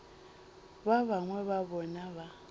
ba bangwe ba bona ba